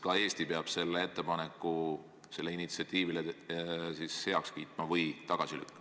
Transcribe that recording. Ka Eesti peab selle ettepaneku, selle initsiatiivi kas heaks kiitma või tagasi lükkama.